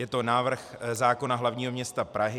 Je to návrh zákona hlavního města Prahy.